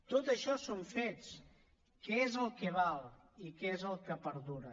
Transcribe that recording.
tot això són fets que és el que val i que és el que perdura